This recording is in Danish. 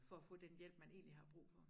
For at få den hjælp man egentlig har brug for